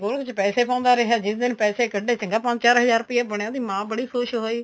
ਗੋਲਕ ਚ ਪੈਸੇ ਪਾਉਂਦਾ ਰਿਹਾ ਜਿਸ ਦਿਨ ਪੈਸੇ ਕੱਡੇ ਚੰਗਾ ਪੰਜ ਚਾਰ ਹਜਾਰ ਰੁਪਇਆ ਬਣਿਆ ਉਹਦੀ ਮਾਂ ਬੜੀ ਖੁਸ਼ ਹੋਈ